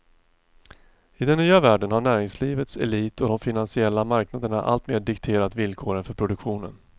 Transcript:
I den nya världen har näringslivets elit och de finansiella marknaderna alltmer dikterat villkoren för produktionen.